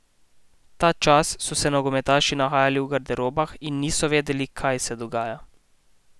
Ta čas so se nogometaši nahajali v garderobah in niso vedeli, kaj se dogaja.